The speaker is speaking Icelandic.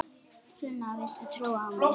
Sunna, viltu trúa á mig?